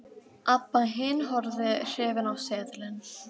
Abba hin horfði hrifin á seðilinn.